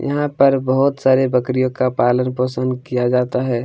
यहाँ पर बहुत सारे बकरियों का पालन पोषण किया जाता हैं।